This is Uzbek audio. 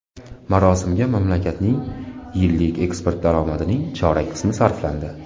Marosimga mamlakatning yillik eksport daromadining chorak qismi sarflandi.